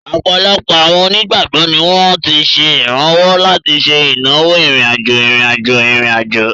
Ọ̀pọ̀lọpọ̀ àwọn onígbàgbọ́ ni wọ́n ti ṣe ìrànwọ́ láti ṣe ìnáwó ìrìn-àjò ìrìn-àjò ìrìn-àjò.